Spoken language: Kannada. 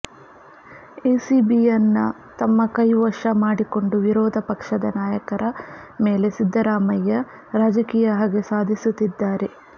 ಎಸಿಬಿಯನ್ನ ತಮ್ಮ ಕೈ ವಶ ಮಾಡಿಕೊಂಡು ವಿರೋಧ ಪಕ್ಷದ ನಾಯಕರ ಮೇಲೆ ಸಿದ್ದರಾಮಯ್ಯ ರಾಜಕೀಯ ಹಗೆ ಸಾಧಿಸುತ್ತಿದ್ದಾರೆ